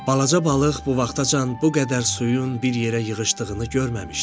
Balaca balıq bu vaxtacan bu qədər suyun bir yerə yığışdığını görməmişdi.